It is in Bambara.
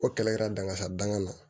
O kɛlɛ kɛla dangasa danga na